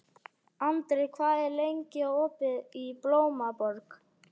Andri, hvað er lengi opið í Blómaborg?